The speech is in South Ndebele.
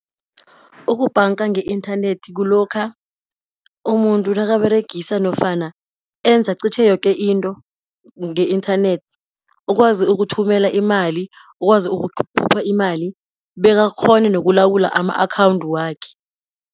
Ukubhanga nge-inthanethi kulokha umuntu nakaberegisa nofana enza qitjhe yoke into nge-inthanethi, ukwazi ukuthumela imali, ukwazi ukukhupha imali, bekakghone nokulawula ama-akhawundu wakhe.